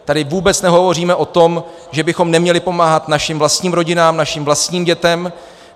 Tady vůbec nehovoříme o tom, že bychom neměli pomáhat našim vlastním rodinám, našim vlastním dětem.